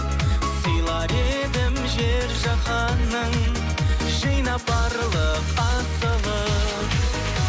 сыйлар едім жер жаһанның жинап барлық асылын